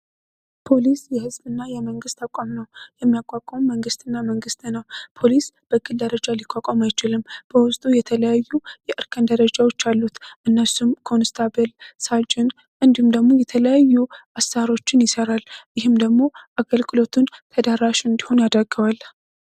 ፖሊስ የህዝብ እና የመንግሥት አቋም ነው የሚያቋቋውም መንግስትእና መንግሥት ነው ፖሊስ በክል ደረጃ ሊቋቋም አይችልም በውስጡ የተለያዩ የእርከን ደረጃዎች አሉት እነሱም ኮንስታበል ሳጅን እንዲም ደግሞ የተለያዩ አሳሮችን ይሠራል ይህም ደግሞ አገልክሎቱን ተዳራሽ እንዲሆን ያደገዋል።